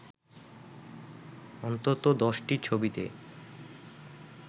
অন্তত ১০টি ছবিতে